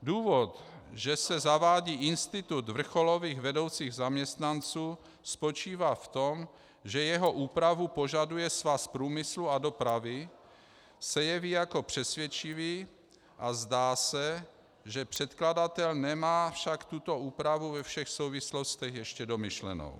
Důvod, že se zavádí institut vrcholových vedoucích zaměstnanců, spočívá v tom, že jeho úpravu požaduje Svaz průmyslu a dopravy, se jeví jako přesvědčivý a zdá se, že předkladatel nemá však tuto úpravu ve všech souvislostech ještě domyšlenu.